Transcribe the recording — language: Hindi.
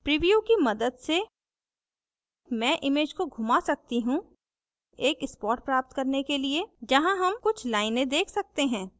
प्रीव्यू की मदद से मैं image को घुमा सकती हूँ एक spot प्राप्त करने के लिए जहाँ हम कुछ लाइनें देख सकते हैं